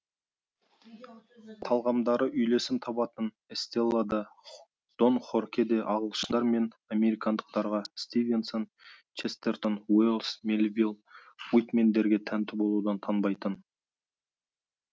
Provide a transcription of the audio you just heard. талғамдары үйлесім табатын эстела да дон хорхе де ағылшындар мен американдықтарға стивенсон честертон уэллс меливилл уитмендерге тәнті болудан танбайтын